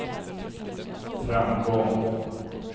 framgång